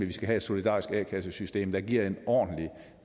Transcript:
vi skal have et solidarisk a kassesystem der giver en ordentlig